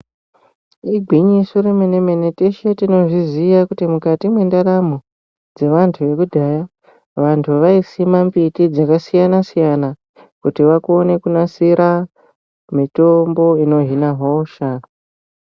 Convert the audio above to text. Igwinyiso remene-mene teshe tinozviziya kuti mukati mwendaramo dzevantu vekudhaya, vanthu vaisima mbiti dzakasiyana-siyana kuti vakone kunasira mitombo inohina hosha.